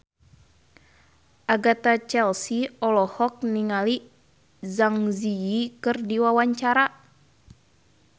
Agatha Chelsea olohok ningali Zang Zi Yi keur diwawancara